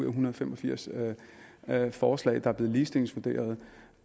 en hundrede og fem og firs forslag er blevet ligestillingsvurderet